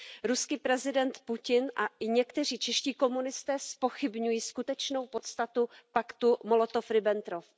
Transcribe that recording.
Ruský prezident Putin a i někteří čeští komunisté zpochybňují skutečnou podstatu paktu Molotov Ribbentrop.